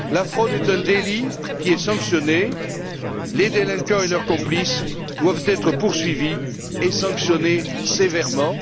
La fraude est un délit qui est sanctionné. Les délinquants et leurs complices doivent être poursuivis et sanctionnés sévèrement.